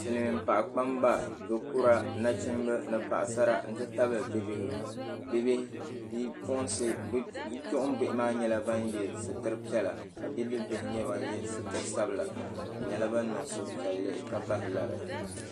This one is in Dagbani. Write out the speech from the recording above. Silimiin paɣa kpamba dokura nachimba ni Paɣasara nti tabila bibihi Bipuɣimbihi maa yela sitiri piɛla ka bidibbihi maa ye sitiri sabila bɛ nyɛla ban niŋ suhu piɛlli ka bahi lari.